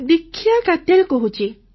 ଦୀକ୍ଷା କାତ୍ୟାଲ୍ କହୁଛି